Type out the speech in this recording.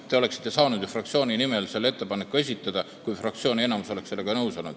Te oleksite saanud ju esitada ettepaneku oma fraktsiooni nimel, kui fraktsiooni enamus oleks olnud sellega nõus.